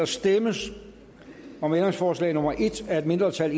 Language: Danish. stemmes om ændringsforslag nummer en af et mindretal